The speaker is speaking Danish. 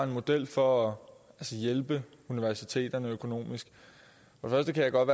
model for at hjælpe universiteterne økonomisk jeg kan godt